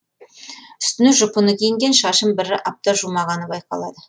үстіне жұпыны киінген шашын бір апта жумағаны байқалады